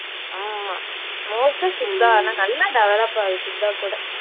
ஆமா most ஆ சித்தா ஆனா நல்லா develop ஆகுது சித்தா கூட